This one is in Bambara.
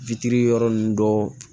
yɔrɔ nunnu dɔ